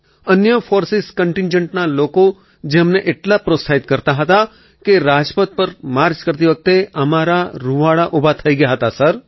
અન્ય ફૉર્સેસ કન્ટિન્ટજન્ટના લોકો જે અમને એટલા પ્રોત્સાહિત કરતા હતા કે રાજપથ પર માર્ચ કરતી વખતે અમારા રૂંવાડા ઊભા થઈ ગયા હતા સર